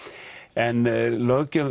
en löggjöf